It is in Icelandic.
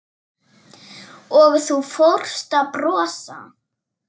Og þú fórst að brosa.